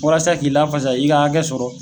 Walasa k'i lafasa, i ka hakɛ sɔrɔ